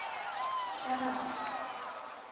тараз